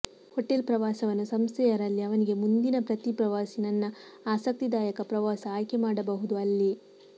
hotel ಪ್ರವಾಸವನ್ನು ಸಂಸ್ಥೆಯ ರಲ್ಲಿ ಅವನಿಗೆ ಮುಂದಿನ ಪ್ರತಿ ಪ್ರವಾಸಿ ನನ್ನ ಆಸಕ್ತಿದಾಯಕ ಪ್ರವಾಸ ಆಯ್ಕೆಮಾಡಬಹುದು ಅಲ್ಲಿ